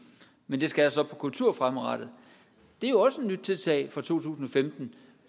men at det skal der så på kultur fremadrettet det er jo også et nyt tiltag fra to tusind og femten